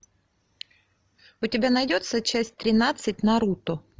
у тебя найдется часть тринадцать наруто